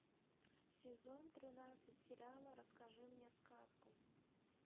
сезон тринадцать сериала расскажи мне сказку